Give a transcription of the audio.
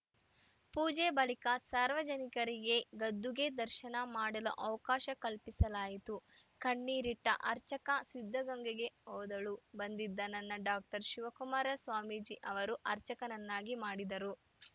ಪೂಜೆ ಬಳಿಕ ಸಾರ್ವಜನಿಕರಿಗೆ ಗದ್ದುಗೆ ದರ್ಶನ ಮಾಡಲು ಅವಕಾಶ ಕಲ್ಪಿಸಲಾಯಿತು ಕಣ್ಣೀರಿಟ್ಟಅರ್ಚಕ ಸಿದ್ಧಗಂಗೆಗೆ ಓದಲು ಬಂದಿದ್ದ ನನ್ನ ಡಾಕ್ಟರ್ ಶಿವಕುಮಾರ ಸ್ವಾಮೀಜಿ ಅವರು ಅರ್ಚಕನನ್ನಾಗಿ ಮಾಡಿದರು